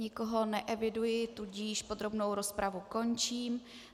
Nikoho neeviduji, tudíž podrobnou rozpravu končím.